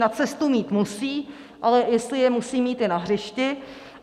Na cestu mít musí, ale jestli je musí mít i na hřišti.